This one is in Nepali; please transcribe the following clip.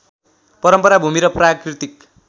परम्परा भूमि र प्राकृतिक